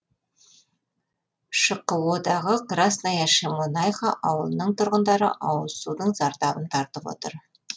шқо дағы красная шемонаиха ауылының тұрғындары ауызсудың зардабын тартып отыр